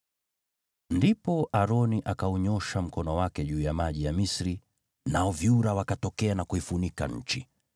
Ndipo Aroni akaunyoosha mkono wake juu ya maji ya Misri, nao vyura wakatokea na kuifunika nchi.